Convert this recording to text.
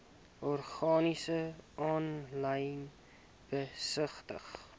organisasies aanlyn besigtig